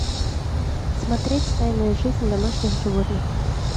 смотреть тайная жизнь домашних животных